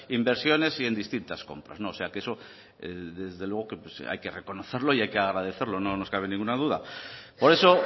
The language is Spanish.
inversiones y en distintas compras o sea que eso desde luego que hay que reconocerlo y hay que agradecerlo no nos cabe ninguna duda por eso